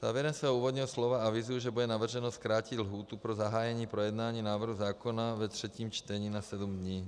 Závěrem svého úvodního slova avizuji, že bude navrženo zkrátit lhůtu pro zahájení projednání návrhu zákona ve třetím čtení na sedm dní.